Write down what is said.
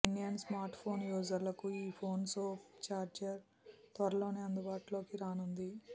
Indian smart phone యూజర్లుకు ఈ phone soap charger త్వరలోనే అందుబాటులోకి రానుంది